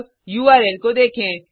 अब उर्ल को देखें